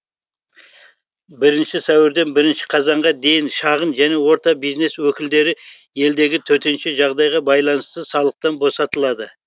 бірінші сәуірден бірінші қазанға дейін шағын және орта бизнес өкілдері елдегі төтенше жағдайға байланысты салықтан босатылады